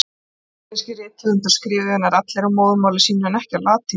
Íslenskir rithöfundar skrifuðu nær allir á móðurmáli sínu, en ekki á latínu.